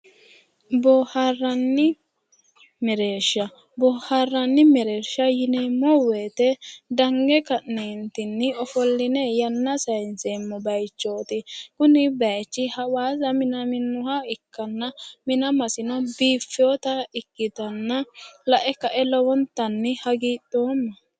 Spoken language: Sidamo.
Boohaarranni mereershi. Boohaarranni mereersha yineemmo dange ka'neentinni ofolline yanna sayinseemmo bayichooti. Kuni bayichi hawaasa minaminnoha ikkanna manamasino biiffiwota ikkitanna lae kae lowontanni hagidhoomma